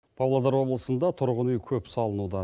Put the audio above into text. павлодар облысында тұрғын үй көп салынуда